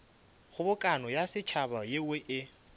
kgobokano ya setšhaba yeo e